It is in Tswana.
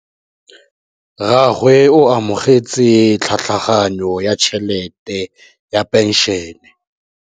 Rragwe o amogetse tlhatlhaganyô ya tšhelête ya phenšene.